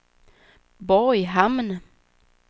Borghamn